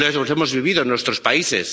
Los hemos vivido en nuestros países.